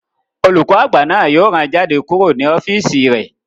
Olùkọ́ àgbà náà yóò rán jáde kúrò ní ọ́físì rẹ̀